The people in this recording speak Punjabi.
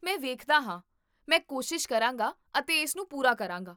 ਮੈਂ ਵੇਖਦਾ ਹਾਂ, ਮੈਂ ਕੋਸ਼ਿਸ਼ ਕਰਾਂਗਾ ਅਤੇ ਇਸ ਨੂੰ ਪੂਰਾ ਕਰਾਂਗਾ